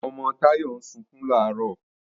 Ọmọ Táyọ̀ ń sunkún làárọ̀